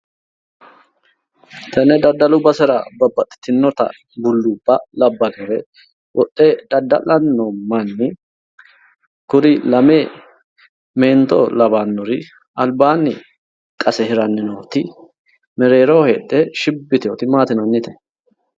tenne daddalu basera babbaxitinore bulluubba labbannore wodhe dadda'lanni no manni kuri lame meento lawannori albaanni qase hiranni nooti mereeroho heedhe shiibbi yitinnoti maati yinannite.